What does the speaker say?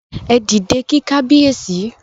Ẹ dìde kí Kábíyèsí!